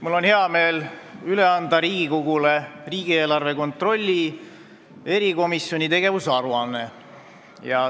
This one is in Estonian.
Mul on hea meel anda Riigikogule üle riigieelarve kontrolli erikomisjoni tegevuse aruanne.